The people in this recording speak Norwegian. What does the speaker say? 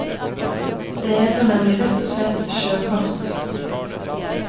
Det heter nemlig rett og slett sjøkart.